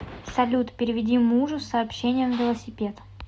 салют переведи мужу с сообщением велосипед